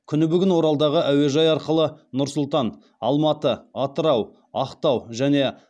күні бүгін оралдағы әуежай арқылы нұр сұлтан алматы атырау ақтау және